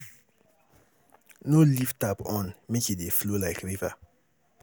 No leave tap on make e dey flow like river